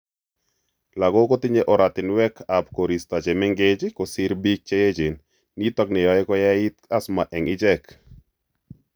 Lagok kotinye oratinwekab koristo chemeng'ech kosiir biik cheechen niton neyoe kayait asthma eng' ichek